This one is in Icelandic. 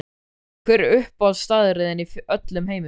Hver er uppáhaldsstaðurinn þinn í öllum heiminum?